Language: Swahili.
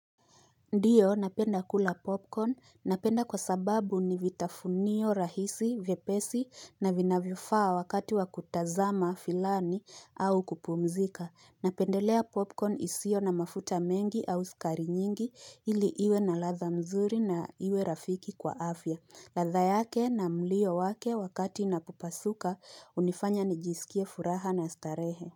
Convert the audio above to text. Ndio napenda kula popcorn, napenda kwa sababu ni vitafunio rahisi, vyepesi na vinayvo faa wakati wa kutazama filamu au kupumzika. Napendelea popcorn isio na mafuta mengi au sukari nyingi ili iwe na ladha nzuri na iwe rafiki kwa afya. Ladha yake na mlio wake wakati inapo pasuka unifanya nijisikie furaha na starehe.